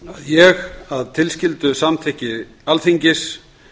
ég að tilskildu samþykki alþingis